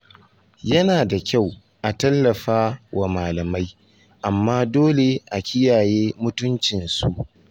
Yana da kyau a tallafa wa malamai, amma dole a kiyaye mutuncin su.